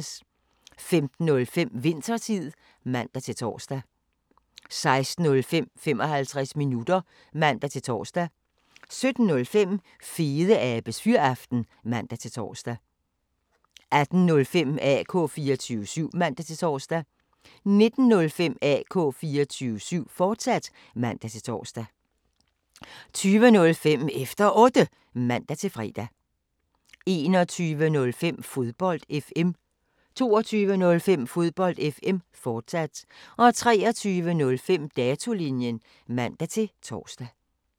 15:05: Winthertid (man-tor) 16:05: 55 minutter (man-tor) 17:05: Fedeabes Fyraften (man-tor) 18:05: AK 24syv (man-tor) 19:05: AK 24syv, fortsat (man-tor) 20:05: Efter Otte (man-fre) 21:05: Fodbold FM 22:05: Fodbold FM, fortsat 23:05: Datolinjen (man-tor)